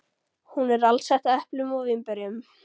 Hún er alsett eplum og vínberjum.